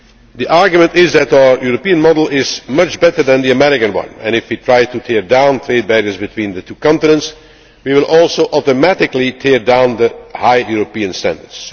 The argument is that our European model is much better than the American one and if we try to tear down trade barriers between the two continents we will also automatically tear down the high European standards.